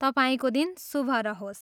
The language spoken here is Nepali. तपाईँको दिन शुभ रहोस्!